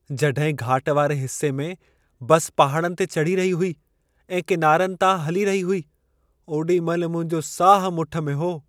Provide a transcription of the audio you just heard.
जॾहिं घाट वारे हिस्से में बस पहाड़नि ते चढ़ी रही हुई ऐं किनारियुनि तां हली रही हुई, ओॾी महिल मुंहिंजो साहु मुठि में हो।